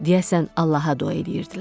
Deyəsən Allaha dua eləyirdilər.